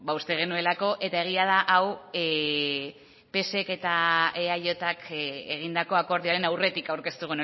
uste genuelako eta egia da hau psek eta eajk egindako akordioaren aurretik aurkeztu